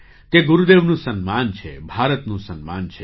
તે ગુરુદેવનું સન્માન છે ભારતનું સન્માન છે